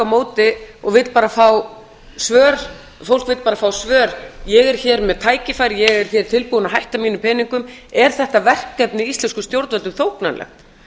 móti og vill bara fá svör fólk vill bara fá svör ég er hér með tækifæri ég er hér tilbúin að hætta mínum peningum er þetta verkefni íslenskum stjórnvöldum þóknanlegt